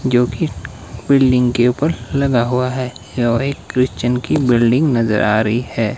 जो कि बिल्डिंग के ऊपर लगा हुआ है और एक क्रिश्चन की बिल्डिंग नजर आ रही है।